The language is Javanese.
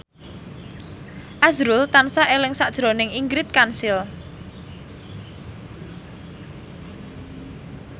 azrul tansah eling sakjroning Ingrid Kansil